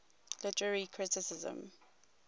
literary criticism